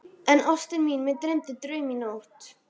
En, ástin mín, mig dreymdi draum í nótt.